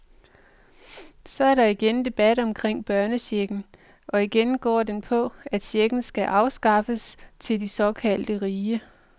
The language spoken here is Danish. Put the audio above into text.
Så er der igen debat omkring børnechecken, og igen går den på, at checken skal afskaffes til de såkaldte rige.